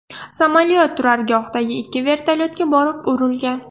Samolyot turargohdagi ikki vertolyotga borib urilgan.